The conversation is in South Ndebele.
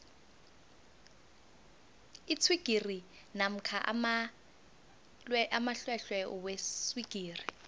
iswigiri namkha amalwelwe weswigiri